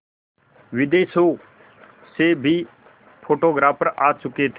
विदेशों से भी फोटोग्राफर आ चुके थे